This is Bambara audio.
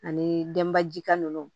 Ani denbajika ninnu